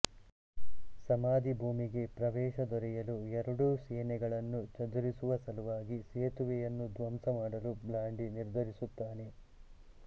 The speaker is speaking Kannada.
ಸಮಾಧಿ ಭೂಮಿಗೆ ಪ್ರವೇಶ ದೊರೆಯಲು ಎರಡೂ ಸೇನೆಗಳನ್ನು ಚದುರಿಸುವ ಸಲುವಾಗಿ ಸೇತುವೆಯನ್ನು ಧ್ವಂಸಮಾಡಲು ಬ್ಲಾಂಡಿ ನಿರ್ಧರಿಸುತ್ತಾನೆ